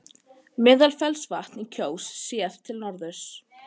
Meðalfellsvatn í Kjós, séð til norðurs.